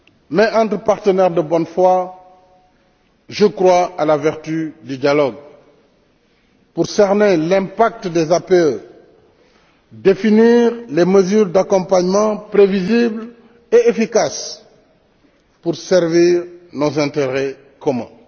Mais, entre partenaires de bonne foi, je crois à la vertu du dialogue pour cerner l'impact des APE, définir les mesures d'accompagnement prévisibles et efficaces pour servir nos intérêts communs.